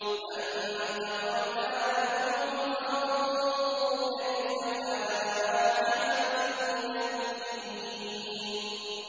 فَانتَقَمْنَا مِنْهُمْ ۖ فَانظُرْ كَيْفَ كَانَ عَاقِبَةُ الْمُكَذِّبِينَ